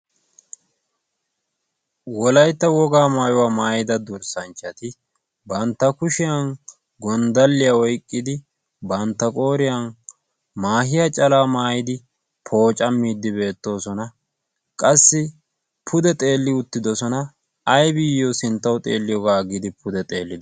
wolaytta wogaa maayuwaa maayida durssanchchati bantta kushiyan gonddalliyaa oyqqidi bantta qooriyan maahiya calaa maayidi pooca miiddi beettoosona. qassi pude xeelli uttidosona. aybiiyyo sinttawu xeelliyoogaa giidi pude xeellide?